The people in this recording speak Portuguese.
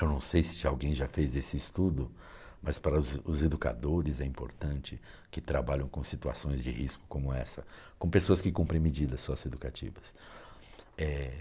Eu não sei se alguém já fez esse estudo, mas para os os educadores é importante que trabalhem com situações de risco como essa, com pessoas que cumprem medidas socioeducativas.